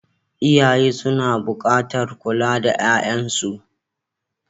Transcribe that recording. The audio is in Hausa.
Iyaye suna buƙatar kula da 'ya'yansu.